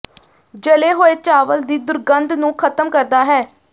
ਜਲੇ ਹੋਏ ਚਾਵਲ ਦੀ ਦੁਰਗੰਧ ਨੂੰ ਖਤਮ ਕਰਦਾ ਹੈ